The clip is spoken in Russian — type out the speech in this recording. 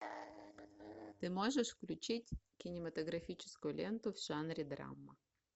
ты можешь включить кинематографическую ленту в жанре драма